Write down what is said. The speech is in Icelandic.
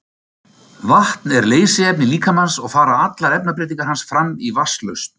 Vatn er leysiefni líkamans og fara allar efnabreytingar hans fram í vatnslausn.